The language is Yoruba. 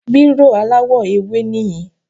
Bírò aláwọ̀-ewé níyìn